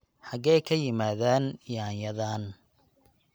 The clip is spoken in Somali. xagee ka yimaadeen yaanyadan?